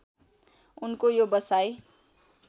उनको यो बसाइ